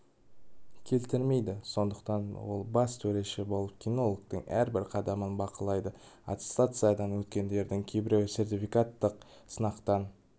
келтірмейді сондықтан ол бас төреші болып кинологтың әрбір қадамын бақылады аттестациядан өткендердің кейбіреуі сертификаттық сынақтан